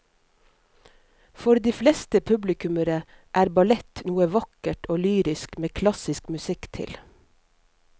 For de fleste publikummere er ballett noe vakkert og lyrisk med klassisk musikk til.